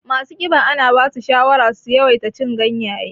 Masu ƙiba ana basu shawara su yawaita cin ganyaye